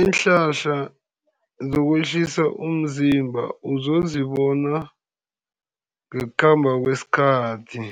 Iinhlahla zokwehlisa umzimba uzozibona ngokukhamba kwesikhathi,